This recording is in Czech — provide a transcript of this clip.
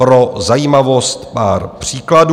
Pro zajímavost pár příkladů.